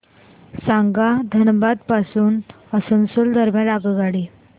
सांगा धनबाद पासून आसनसोल दरम्यान आगगाडी